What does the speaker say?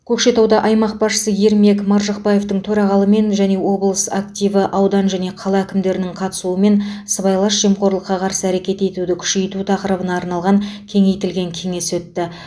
көкшетауда аймақ басшысы ермек маржықпаевтың төрағалығымен және облыс активі аудан және қала әкімдерінің қатысуымен сыбайлас жемқорлыққа қарсы әрекет етуді күшейту тақырыбына арналған кеңейтілген кеңес өтті